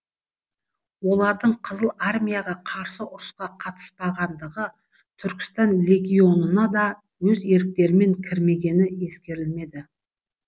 олардың қызыл армияға қарсы ұрысқа қатыспағандығы түркістан легионына да өз еріктерімен кірмегені ескерілмеді